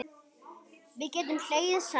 Við gátum hlegið saman.